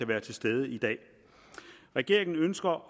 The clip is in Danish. være til stede i dag regeringen ønsker